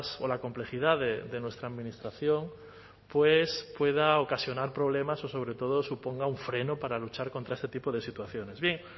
o la complejidad de nuestra administración pues pueda ocasionar problemas o sobre todo suponga un freno para luchar contra este tipo de situaciones bien